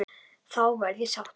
Þá verð ég sáttur.